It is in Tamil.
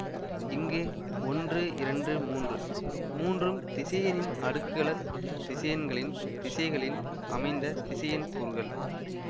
இங்கு ஒன்று இரண்டு மூன்று மூன்றும் திசையனின் அடுக்களத் திசையன்களின் திசைகளில் அமைந்த திசையன் கூறுகள்